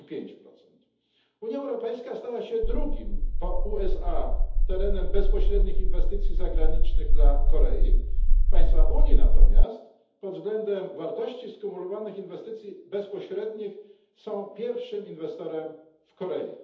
35. Unia Europejska stała się drugim po USA terenem bezpośrednich inwestycji zagranicznych dla Korei, państwa Unii natomiast pod względem wartości skumulowanych inwestycji bezpośrednich są pierwszym inwestorem w Korei.